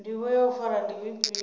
ndivho ya u fara ndi ifhio